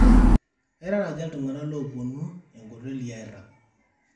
eirara aja iltungana lopuonu enkoteli airag